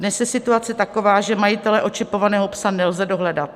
Dnes je situace taková, že majitele očipovaného psa nelze dohledat.